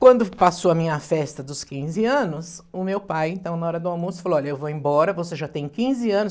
Quando passou a minha festa dos quinze anos, o meu pai, então, na hora do almoço, falou, olha, eu vou embora, você já tem quinze anos.